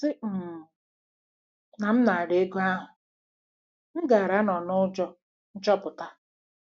" A sị um na m nara ego ahụ, m gaara anọ n'ụjọ nchọpụta.